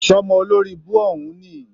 Sọ́mọ olóribú òhún níì?